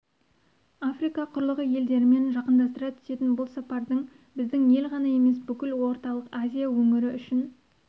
африка құрлығы елдерімен жақындастыра түсетін бұл сапардың біздің ел ғана емес бүкіл орталық азия өңірі үшін